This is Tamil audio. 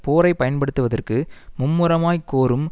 போரை பயன்படுத்துவதற்கு மும்முரமாய்க் கோரும்